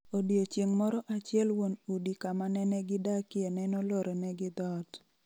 Odiochieng' moro achiel wuon udi kama nenegidakienenolore negi dhoot.